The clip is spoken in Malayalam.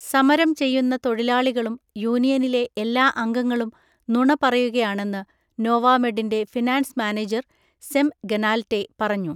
സമരം ചെയ്യുന്ന തൊഴിലാളികളും യൂണിയനിലെ എല്ലാ അംഗങ്ങളും നുണ പറയുകയാണെന്ന് നോവാമെഡിൻ്റെ ഫിനാൻസ് മാനേജർ സെം ഗനാൽറ്റേ പറഞ്ഞു.